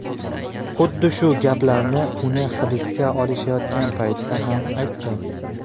Xuddi shu gaplarini uni hibsga olishayotgan paytda ham aytgan.